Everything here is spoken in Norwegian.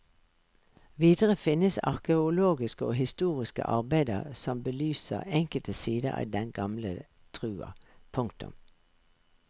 Videre finnes arkeologiske og historiske arbeider som belyser enkelte sider av den gamle trua. punktum